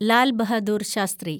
Lal Bahadur Shastri